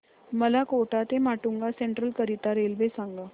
मला कोटा ते माटुंगा सेंट्रल करीता रेल्वे सांगा